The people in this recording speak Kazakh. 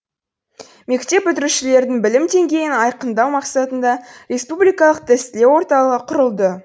мектеп бітірушілердің білім деңгейін айқындау мақсатында республикалық тестілеу орталығы құрылды